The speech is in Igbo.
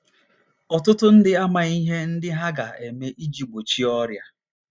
Ọtụtụ ndị amaghị ihe ndị ha ga - eme iji gbochie ọrịa.